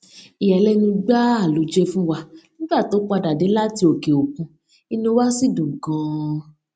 ìyàlénu gbáà ló jé fún wa nígbà tó padà dé láti òkè òkun inú wa sì dùn ganan